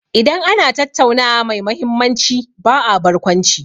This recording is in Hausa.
Idan ana tattaunawa mai mahimmanci ba a barkwanci.